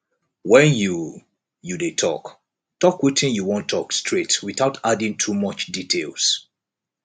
when you you dey talk talk wetin you wan talk straight without adding too much details